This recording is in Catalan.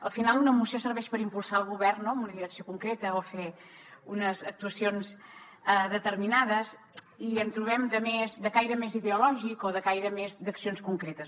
al final una moció serveix per impulsar el govern en una direcció concreta o fer unes actuacions determinades i en trobem de caire més ideològic o de caire més d’accions concretes